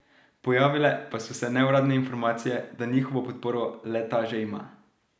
Pojavile pa so se neuradne informacije, da njihovo podporo le ta že ima.